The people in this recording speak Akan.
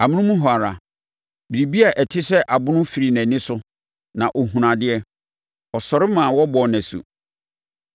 Amonom hɔ ara, biribi a ɛte sɛ abon firii nʼani so na ɔhunuu adeɛ. Ɔsɔre maa wɔbɔɔ no asu.